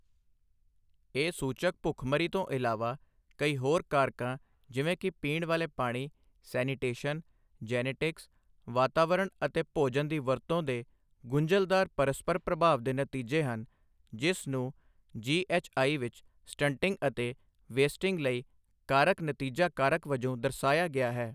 ਇਹ ਸੂਚਕ ਭੁੱਖਮਰੀ ਤੋਂ ਇਲਾਵਾ, ਕਈ ਹੋਰ ਕਾਰਕਾਂ ਜਿਵੇਂ ਕਿ ਪੀਣ ਵਾਲੇ ਪਾਣੀ, ਸੈਨੀਟੇਸ਼ਨ, ਜੈਨੇਟਿਕਸ, ਵਾਤਾਵਰਣ ਅਤੇ ਭੋਜਨ ਦੀ ਵਰਤੋਂ ਦੇ ਗੁੰਝਲਦਾਰ ਪਰਸਪਰ ਪ੍ਰਭਾਵ ਦੇ ਨਤੀਜੇ ਹਨ, ਜਿਸ ਨੂੰ ਜੀਐੱਚਆਈ ਵਿੱਚ ਸਟੰਟਿੰਗ ਅਤੇ ਵੇਸਟਿੰਗ ਲਈ ਕਾਰਕ ਨਤੀਜਾ ਕਾਰਕ ਵਜੋਂ ਦਰਸਾਇਆ ਗਿਆ ਹੈ।